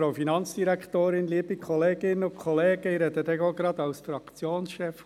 – Ich erteile Grossrat Haas das Wort.